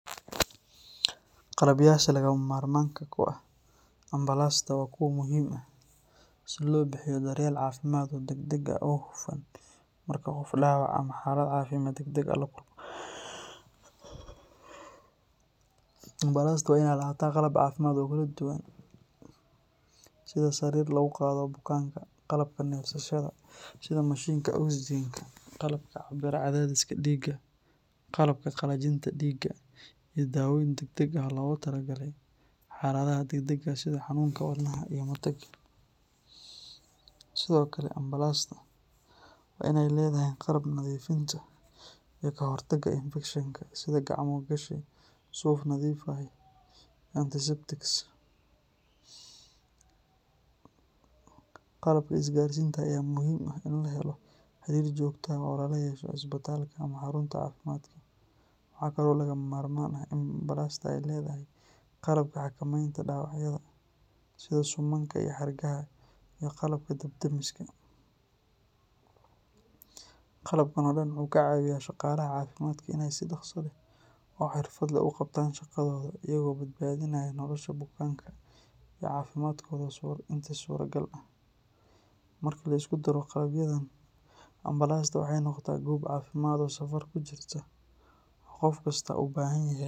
Qalabyasha lagama maarmaanka u ah ambalaasta waa kuwo muhiim ah si loo bixiyo daryeel caafimaad oo degdeg ah oo hufan marka qof dhaawac ama xaalad caafimaad degdeg ah la kulmo. Ambalaasta waa in ay lahaataa qalab caafimaad oo kala duwan sida sariir lagu qaado bukaanka, qalabka neefsashada sida mashiinka oxygen-ka, qalabka cabbira cadaadiska dhiigga, qalabka qalajinta dhiigga, iyo daawooyin degdeg ah oo loogu talagalay xaaladaha degdega ah sida xanuunka wadnaha iyo matag. Sidoo kale, ambalaasta waa in ay leedahay qalabka nadiifinta iyo ka hortagga infekshinka, sida gacmo gashi, suuf nadiif ah, iyo antiseptics. Qalabka isgaarsiinta ayaa muhiim u ah in la helo xiriir joogto ah oo lala yeesho isbitaalka ama xarunta caafimaadka. Waxaa kaloo lagama maarmaan ah in ambalaasta ay leedahay qalabka xakamaynta dhaawacyada, sida suumanka iyo xargaha, iyo qalabka dab-damiska. Qalabkan oo dhan wuxuu ka caawiyaa shaqaalaha caafimaadka inay si dhakhso leh oo xirfad leh u qabtaan shaqadooda iyagoo badbaadinaya nolosha bukaanka iyo caafimaadkooda intii suuragal ah. Marka la isku daro qalabyadan, ambalaasta waxay noqotaa goob caafimaad oo safar ku jirta oo qof kasta u baahan yahay.